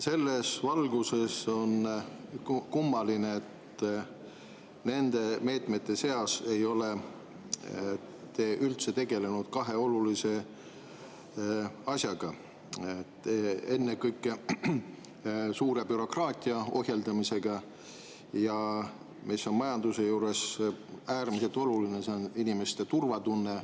Selles valguses on kummaline, et nende meetmete seas ei ole te üldse tegelenud kahe olulise asjaga: ennekõike suure bürokraatia ohjeldamisega ja inimeste turvatundega, mis on majanduse puhul äärmiselt oluline.